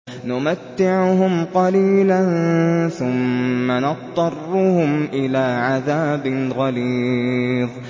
نُمَتِّعُهُمْ قَلِيلًا ثُمَّ نَضْطَرُّهُمْ إِلَىٰ عَذَابٍ غَلِيظٍ